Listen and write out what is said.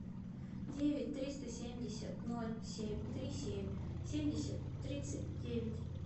девять триста семьдесят ноль семь три семь семьдесят тридцать девять